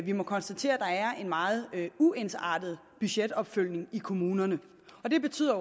vi må konstatere at der er en meget uensartet budgetopfølgning i kommunerne og det betyder